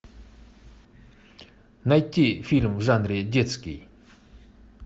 найти фильм в жанре детский